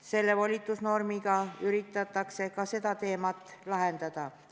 Selle volitusnormiga üritatakse ka seda probleemi lahendada.